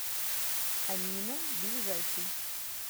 амина ближайший